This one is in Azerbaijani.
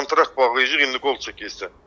Kontrakt bağlayacağıq indi qol çəkirsən.